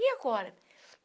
E agora?